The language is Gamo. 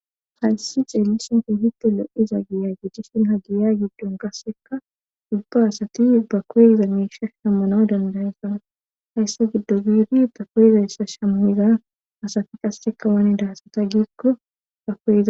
Hayssi ceelisonfi hitte lo'iza giya gechisin ha giya giddon qasseka ubba asati ba koygiza miisha shammanaw dandaysana hayssa giddo biidi ta koyizayssa shamuhiza asati qasseka waanidahasata giikko bakoiza